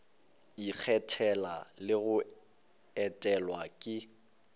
ikgethela le go etelwa ke